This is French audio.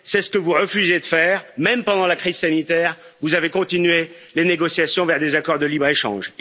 C'est ce que vous refusez de faire même pendant la crise sanitaire, vous avez continué les négociations vers des accords de libre échange.